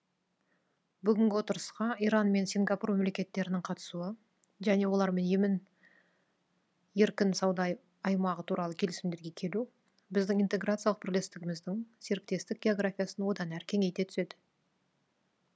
бүгінгі отырысқа иран мен сингапур мемлекеттерінің қатысуы және олармен емін еркін сауда аймағы туралы келісімдерге келу біздің интеграциялық бірлестігіміздің серіктестік географиясын одан әрі кеңейте түседі